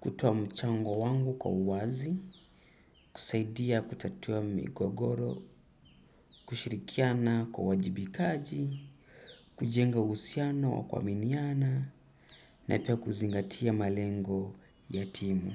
kutoa mchango wangu kwa uwazi, kusaidia kutatua migogoro, kushirikiana kwa wajibikaji, kujenga uhusiano wa kuaminiana, na pia kuzingatia malengo ya timu.